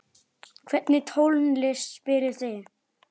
Hvernig tónlist spilið þið?